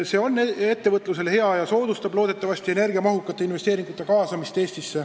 See on ettevõtlusele hea ja soodustab loodetavasti energiamahukate investeeringute tegemist Eestis.